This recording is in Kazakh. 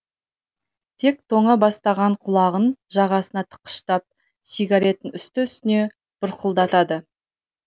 тек тоңа бастаған құлағын жағасына тыққыштап сигаретін үсті үстіне бұрқылдатады